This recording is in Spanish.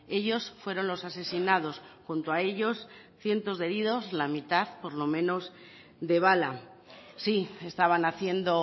ellos fueron los asesinados junto a ellos cientos de heridos la mitad por lo menos de bala sí estaban haciendo